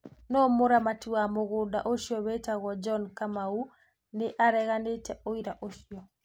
No mũramati wa mũgũnda ũcio wĩtagwo John Kumau nĩ areganĩte ũira ũcio.